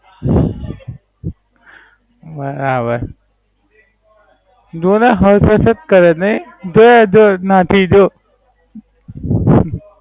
બરાબર. થોડા હલચક જ કરે નઈ બે જોક નાખી જો